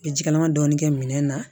N bɛ ji kalaman dɔɔni kɛ minɛn na